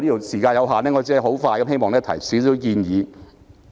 時間所限，我只能簡短地提出建議。